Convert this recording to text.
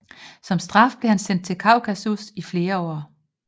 Som straf blev han sendt til Kaukasus i flere år